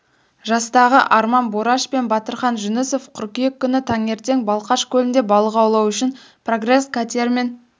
жастағы арман бораш пен батырхан жүнісов қыркүйек күні таңертең балқаш көлінде балық аулау үшін прогресс катерімен